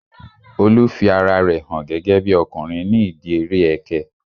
Olu fi ara rẹ hàn gẹ́gẹ́bí ọkùnrin ní ìdíi eré ẹkẹ